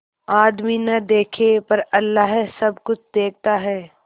आदमी न देखे पर अल्लाह सब कुछ देखता है